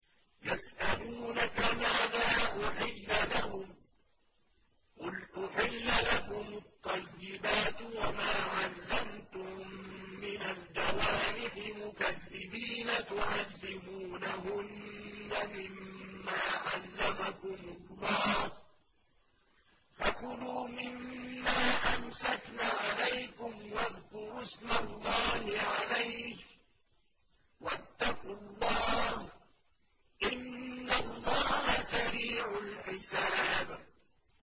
يَسْأَلُونَكَ مَاذَا أُحِلَّ لَهُمْ ۖ قُلْ أُحِلَّ لَكُمُ الطَّيِّبَاتُ ۙ وَمَا عَلَّمْتُم مِّنَ الْجَوَارِحِ مُكَلِّبِينَ تُعَلِّمُونَهُنَّ مِمَّا عَلَّمَكُمُ اللَّهُ ۖ فَكُلُوا مِمَّا أَمْسَكْنَ عَلَيْكُمْ وَاذْكُرُوا اسْمَ اللَّهِ عَلَيْهِ ۖ وَاتَّقُوا اللَّهَ ۚ إِنَّ اللَّهَ سَرِيعُ الْحِسَابِ